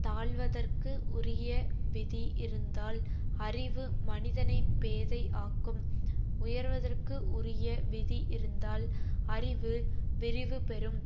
தாழ்வதற்கு உரிய விதி இருந்தால் அறிவு மனிதனை பேதை ஆக்கும் உயர்வதற்கு உரிய விதி இருந்தால் அறிவு விரிவு பெறும்